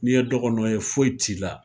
N'i ye dɔgɔnɔ ye foyi t'i la.